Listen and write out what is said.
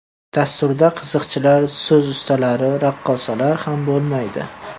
Dasturda qiziqchilar, so‘z ustalari, raqqosalar ham bo‘lmaydi.